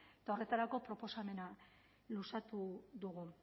eta horretarako proposamena luzatu dugu